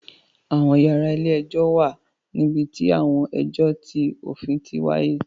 Àwọn yàrá ilé-ẹjọ̀ wà níbi tí àwọn ẹjọ ti òfin ti wáyé